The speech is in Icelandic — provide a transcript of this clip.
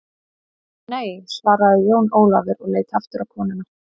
Nei, svaraði Jón Ólafur og leit aftur á konuna.